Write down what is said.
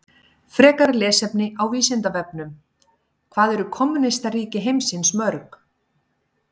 Frekara lesefni á Vísindavefnum: Hvað eru kommúnistaríki heimsins mörg?